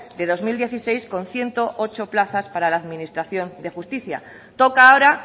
de dos mil dieciséis con ciento ocho plazas para la administración de justicia toca ahora